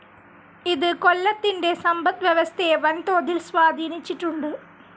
ഇത് കൊല്ലത്തിൻ്റെ സമ്പദ് വ്യവസ്ഥയെ വൻതോതിൽ സ്വാധീനിച്ചിട്ടുണ്ട്.